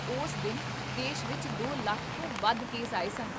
ਉਸ ਦਿਨ ਦੇਸ਼ ਵਿੱਚ ਦੋ ਲੱਖ ਤੋਂ ਵੱਧ ਕੇਸ ਆਏ ਸਨ